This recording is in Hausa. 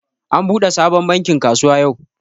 An buɗe sabon bankin kasuwa yau